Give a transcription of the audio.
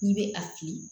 N'i bɛ a fili